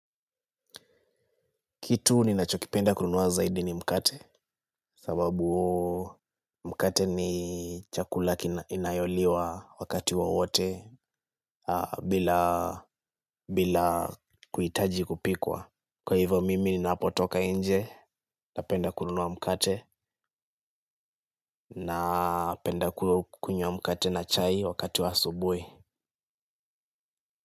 Kitu ninachokipenda kununua zaidi ni mkate, sababu mkate ni chakula inayoliwa wakati wowote bila kuhitaji kupikwa. Kwa hivyo mimi ninapotoka nje napenda kununua mkate napenda kukunywa mkate na chai wakati wa asubuhi.